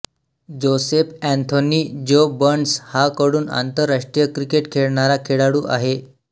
Joseph Anthony Joe Burns हा कडून आंतरराष्ट्रीय क्रिकेट खेळणारा खेळाडू आहे